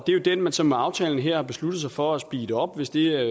det er den man så med aftalen her har besluttet sig for at speede op hvis det er